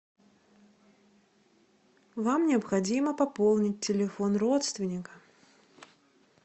вам необходимо пополнить телефон родственника